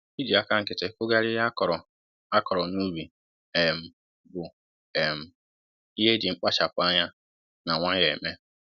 iji aka nkịtị kugharịa ihe a kọrọ a kọrọ n'ubi um bụ um ihe e ji mkpachapu ányá na nwayọ eme